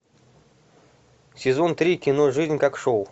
сезон три кино жизнь как шоу